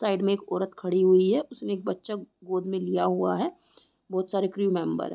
Side में एक औरत खड़ी हुई है उसने एक बच्चा गोद में लिया हुआ है बहुत सारे क्रू मेम्बर है।